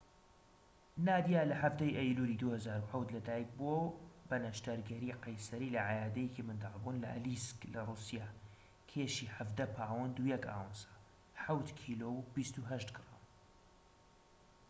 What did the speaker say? نادیا لە ١٧ ی ئەیلولی ٢٠٠٧ لەدایك بووە بە نەشتەرگەری قەیسەری لە عەیادەیەکی مندڵبوون لە ئەلیسک لە رووسیا، کێشی ١٧ پاوەند و ١ ئاونسە [٧ کیلۆ و ٢٨ گرام]